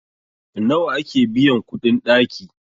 nawa ake biyan kuɗin ɗaki?